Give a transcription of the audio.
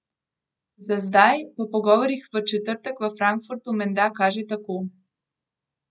Za zdaj, po pogovorih v četrtek v Frankfurtu, menda kaže tako.